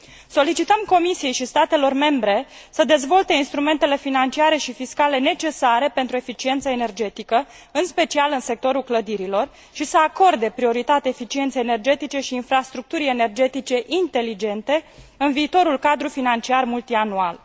Solicităm Comisiei și statelor membre să dezvolte instrumentele financiare și fiscale necesare pentru eficiență energetică, în special în sectorul clădirilor, și să acorde prioritate eficienței energetice și infrastructurii energetice inteligente, în viitorul cadru financiar multianual.